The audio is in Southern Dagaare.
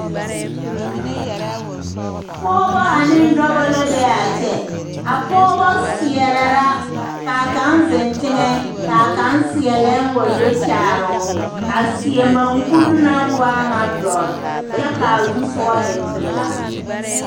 Pɔgeba ane dɔba la be a kyɛ a pɔgeba seɛrɛ la ka a kaŋ zeŋ teŋɛ ka a kaŋ seɛ lɛɛŋ wa do kyaare o a seɛ maŋkuri naŋ waa ŋa dɔre kyɛ ka a zu soga e pelaa.